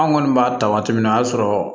An kɔni b'a ta waati min na o y'a sɔrɔ